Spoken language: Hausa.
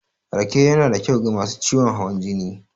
Rake yanada kyau ga masu ciwon hawan jini.